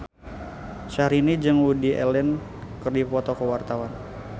Syahrini jeung Woody Allen keur dipoto ku wartawan